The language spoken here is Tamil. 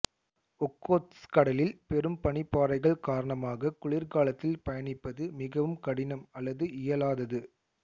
ஒக்கோத்ஸ்க் கடலில் பெரும் பனிப்பாறைகள் காரணமாக குளிர்காலத்தில் பயணிப்பது மிகவும் கடினம் அல்லது இயலாதது